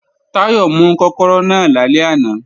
Táyọ̀ mú kọ́kọ́rọ́ náà lálẹ́ àná